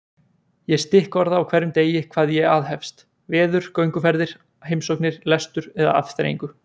Ég stikkorða á hverjum degi hvað ég aðhefst: veður, gönguferðir, heimsóknir, lestur eða afþreyingu.